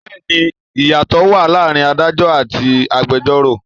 Bẹẹni ìyàtò wá láàárín Ádájọ́ àti agbẹjoro.